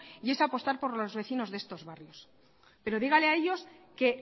y es apostar por los vecinos de estos barrios pero dígale a ellos que